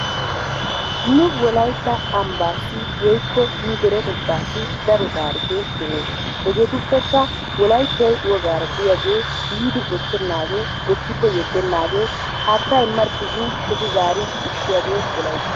Nu wolaitta ambbaassi woykko nu deretettaasi daro taarikkee deesi. Hegeetupekka wolaittay wogaara diyaagee biidi bochchenasgee bichchikko yedenaagee haattaa imarkki gin shocci zarid ushshiyaagee wolayttay.